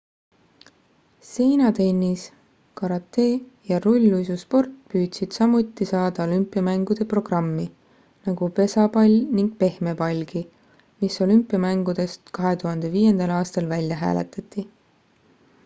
seinatennis karate ja rulluisusport püüdsid samuti saada olümpiamängude programmi nagu pesapall ning pehmepallgi mis olümpiamängudest 2005 aastal välja hääletati